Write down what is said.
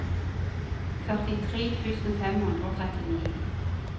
førtitre tusen fem hundre og trettini